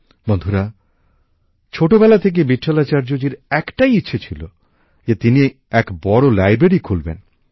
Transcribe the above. বন্ধুরা ছোটবেলা থেকেই ভিটঠালাচার্য জির একটাই ইচ্ছে ছিল যে তিনি এক বড় লাইব্রেরী খুলবেন